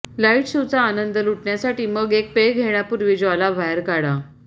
lights शोचा आनंद लुटण्यासाठी मग एक पेय घेण्यापूर्वी ज्वाला बाहेर काढा